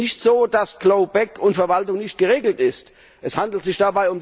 Es ist nicht so, dass C lawback und Verwaltung nicht geregelt sind.